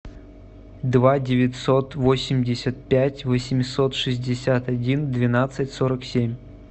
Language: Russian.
два девятьсот восемьдесят пять восемьсот шестьдесят один двенадцать сорок семь